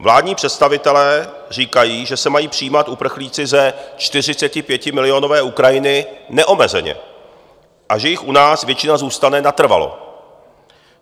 Vládní představitelé říkají, že se mají přijímat uprchlíci ze 45milionové Ukrajiny neomezeně a že jich u nás většina zůstane natrvalo.